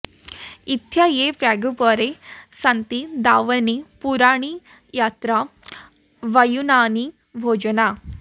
इ॒त्था ये प्रागुप॑रे॒ सन्ति॑ दा॒वने॑ पु॒रूणि॒ यत्र॑ व॒युना॑नि॒ भोज॑ना